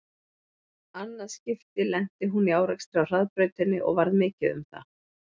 Annað skipti lenti hún í árekstri á hraðbrautinni og varð mikið um það.